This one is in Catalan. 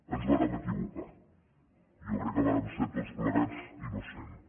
ens vàrem equivocar jo crec que vàrem ser tots plegats innocents